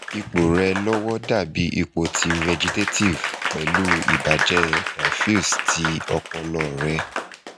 ipo re lowo dabi ipo ti vegetative pelu ibaje diffuse ti opolo re